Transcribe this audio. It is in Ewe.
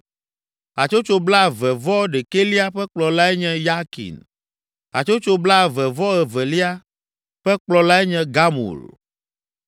Hatsotso blaeve-vɔ-ɖekɛlia ƒe kplɔlae nye Yakin. Hatsotso blaeve-vɔ-evelia ƒe kplɔlae nye Gamul.